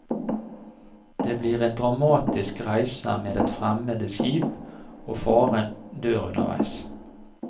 Det blir en dramatisk reise med et fremmed skip, og faren dør underveis.